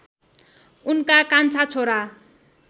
उनका कान्छा छोरा